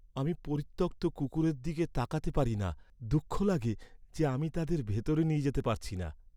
আমি পরিত্যক্ত কুকুরের দিকে তাকাতে পারি না, দুঃখ লাগে যে, আমি তাদের ভিতরে নিয়ে যেতে পারছি না।